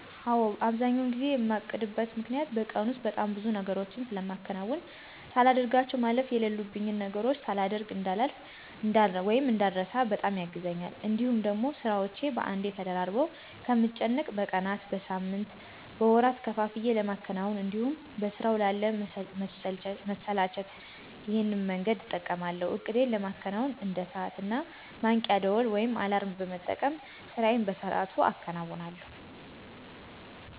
አዎ። አብዛኛውን ጊዜ የማቅድበት ምክኒያቱ በቀን ውስጥ በጣም ብዙ ነገሮችን ስለማከናውን ሳላደርጋቸው ማለፍ የለሉብኝን ነገሮች ሳላደሮግ እዳልቀር ( እንዳረሳ) በጣም ያግዘኛል። እንዲሁም ደግሞ ስራዎቼን በአንዴ ተደራርበው ከምጨነቅ በቀናት፣ በሳምንት፣ በወራት ከፋፍዬ ለማከናወን እንዲሁም በስራው ላለ መሰላቸት ይሄን መንገድ እጠቀማለሁ። እቅዴን ለማከናወን እንደ ሰዓት እና ማንቂያ ደውል (አላርም) በመጠቀም ስራዬን በሰአቱ አከናውነለሁ።